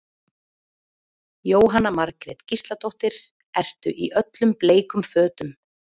Jóhanna Margrét Gísladóttir: Ertu í öllum bleikum fötum?